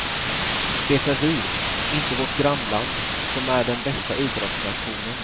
Det är vi, inte vårt grannland, som är den bästa idrottsnationen.